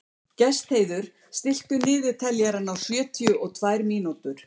Gestheiður, stilltu niðurteljara á sjötíu og tvær mínútur.